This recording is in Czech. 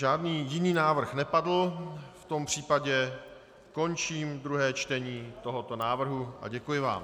Žádný jiný návrh nepadl, v tom případě končím druhé čtení tohoto návrhu a děkuji vám.